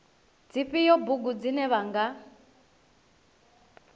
dzifhio bugu dzine vha nga